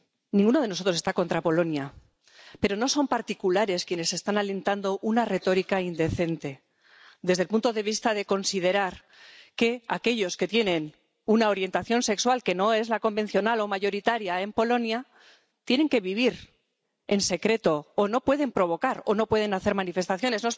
Ninguno de nosotros está contra Polonia, pero no son particulares quienes están alentando una retórica indecente desde el punto de vista de que considera que aquellos que tienen una orientación sexual que no es la convencional o mayoritaria en Polonia tienen que vivir en secreto, o no pueden provocar, o no pueden hacer manifestaciones.